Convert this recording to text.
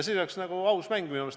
Siis oleks see minu meelest aus mäng.